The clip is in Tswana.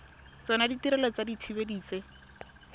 tsona ditirelo tsa dithibedi tse